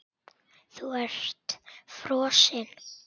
Þú ert frosin.